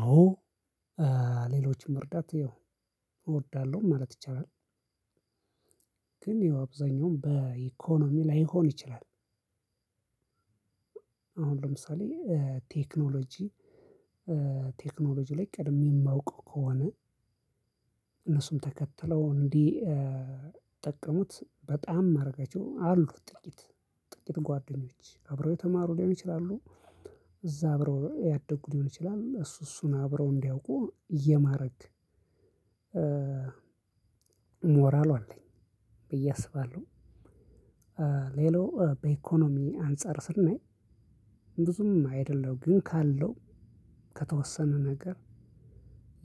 አዎ ሌሎችን መርዳት ያው እወዳለሁ ማለት ይቻላል። ግን ያው አብዛኛውም በኢኮኖሚ ላይሆን ይችላል። አሁን ለምሳሌ ቴክኖሎጂ ቴክኖሎጂ ላይ ቀድሜ እማውቀው ከሆነ። እነሱም ተከትለው እንዲጠቀሙት በጣም ማረጋቸው አሉ ጥቂት ጥቂት ጓደኞች አብረው የተማሩ ሊሆኑ ይችላሉ እዛ አብረው ያደጉ ሊሆን ይችላል እሱ እሱን አብረው እንዲያውቁ የማረግ። ሞራሉ አለኝ ብዬ አስባለሁ። ሌላው በኢኮኖሚ አንፃር ስናይ። ብዙም አይደለም ግን ካለው ከተወሰነ ነገር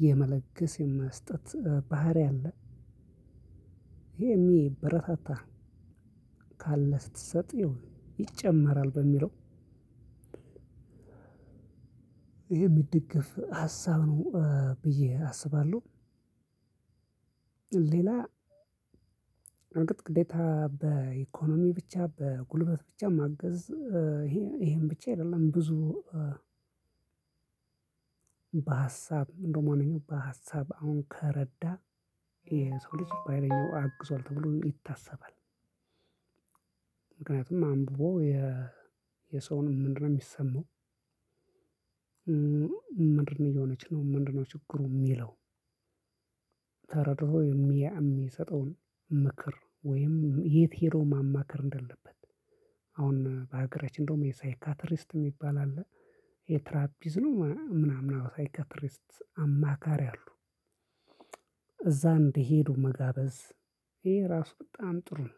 የመለገስ የመስጠት ባህሪ አለ። ይሄ የሚበረታታ ካለህ ስትሰጥ ያው ይጨመራል በሚለው የሚደገፍ ሀሳብ ነው ብዬ አስባለሁ። ሌላ እርግጥ ግዴታ በኢኮኖሚ ብቻ በጉልበት ብቻ ማገዝ ይሄ ይሄን ብቻ አይደለም ብዙ በሀሳብ እንደውም ዋነኛው በሀሳብ አሁን ከረዳህ የሰው ልጅ በሃይለኛው አግዟል ተብሎ ይታሰባል። ምክንያቱም አንብቦ የ የሰውን ምንድነው ሚሰማው? ምንድነው እየሆነች ነው ምንድነው ችግሩ ሚለው? ተረድቶ የሚያ እሚሰጠውን ምክር ወይም የት ሄዶ ማማከር እንዳለበት። አሁን በሀገራችን እንደውም የሳይካትሪስት ሚባል አለ። የትራፒዝ ነው ምና ምናምን አዎ ሳይካትሪስት አማካሪ አሉ። እዛ እንዲሄዱ መጋበዝ ይሄ ራሱ በጣም ጥሩ ነው።